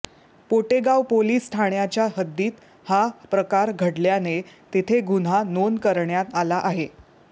Potegaon police ठाण्याच्या हद्दीत हा प्रकार घडल्याने तेथे गुन्हा नोंद करण्यात आला आहे